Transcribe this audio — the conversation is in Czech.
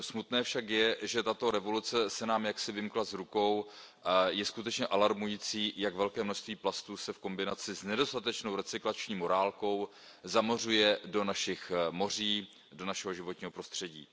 Smutné však je, že tato revoluce se nám jaksi vymkla z rukou, je skutečně alarmující, jak velké množství plastů se v kombinaci s nedostatečnou recyklační morálkou zamořuje do našich moří, do našeho životního prostředí.